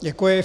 Děkuji.